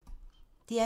DR P2